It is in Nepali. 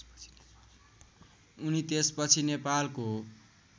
उनी त्यसपछि नेपालको